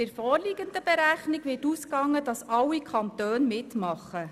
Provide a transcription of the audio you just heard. Bei der vorliegenden Berechnung wird davon ausgegangen, dass alle Kantone mitmachen.